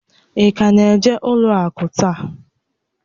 Ị ka na-eje n'ụlọ akụ taa?